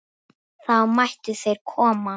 Þá mættu þeir koma.